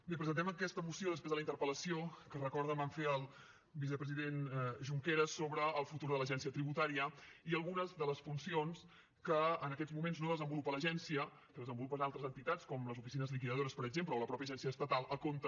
bé presentem aquesta moció després de la interpel·lació que ho recordo vam fer al vicepresident junqueras sobre el futur de l’agència tributària i algunes de les funcions que en aquests moments no desenvolupa l’agència que desenvolupen altres entitats com les oficines liquidadores per exemple o la mateixa agència estatal a compte